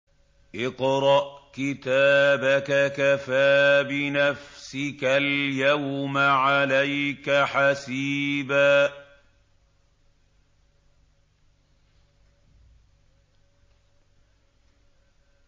اقْرَأْ كِتَابَكَ كَفَىٰ بِنَفْسِكَ الْيَوْمَ عَلَيْكَ حَسِيبًا